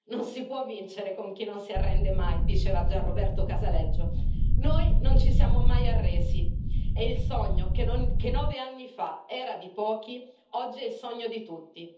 Non si può vincere con chi non si arrende mai, diceva Gian Roberto Casaleggio, noi non ci siamo mai arresi, e il sogno che nove anni fa era di pochi, oggi è il sogno di tutti.